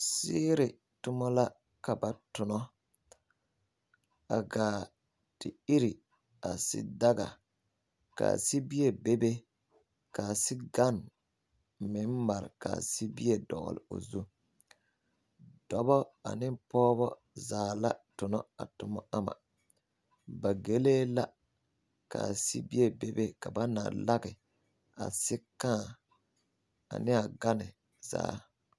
Siiri toma la ka ba tona a gaa te ire a sidaga ka a sibie bebe ka a sigane meŋ mare ka sibie dɔgle o zu dɔbɔ ane pɔgebɔ zaa la tona a toma ama ba gelee la ka a sibie bebe ka ba na lage a sikãã ane a gane zaa.